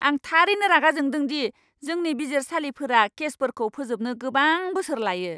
आं थारैनो रागा जोंदों दि जोंनि बिजिरसालिफोरा केसफोरखौ फोजोबनो गोबां बोसोर लायो!